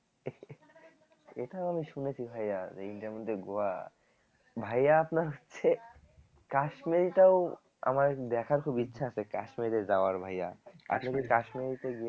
এটা আমি শুনেছি ভাইয়া যে ইন্ডিয়ার মধ্যে গোয়া ভাইয়া আপনার হচ্ছে কাশ্মীরটাও আমার দেখার খুব ইচ্ছা আছে কাশ্মীরে যাওয়ার ভাইয়া আপনি কি